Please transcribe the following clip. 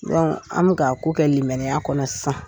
an bɛ k'a ko kɛ limaniya kɔnɔ sisan.